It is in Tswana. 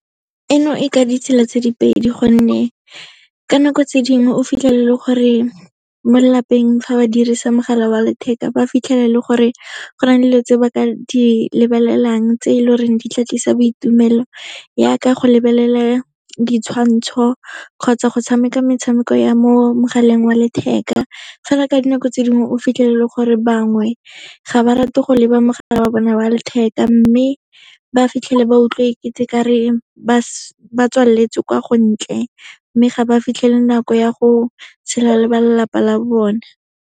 Eno e ka ditsela tse di pedi, gonne ka nako tse dingwe o fitlhele e le gore mo lelapeng fa ba dirisa mogala wa letheka, ba fitlhela e le gore go na le dilo tse ba ka di lebelelang tse e leng gore di ka tlisa boitumelo, yaaka go lebelela ditshwantsho kgotsa go tshameka metshameko ya mo mogaleng wa letheka. Fela ka dinako tse dingwe, o fitlhelele e le gore bangwe, ga ba rate go leba mogala wa bona wa letheka, mme ba fitlhele ba utlwa e kete ba tswaletswe kwa go ntle, mme ga ba fitlhele nako ya go tshela le ba lelapa la bone.